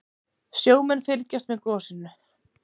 Sjómenn fylgjast með gosinu